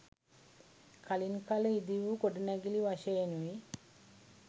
කලින් කල ඉදිවූ ගොඩනැඟිලි වශයෙනුයි